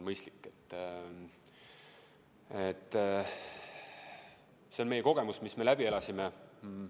See on meie kogemus, mis me läbi elasime.